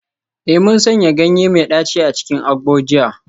Eh, mun sanya ganye mai daci a cikin agbo jiya